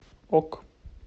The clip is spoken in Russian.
ок